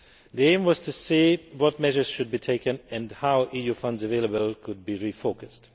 The aim was to see what measures should be taken and how the EU funds available could be refocused.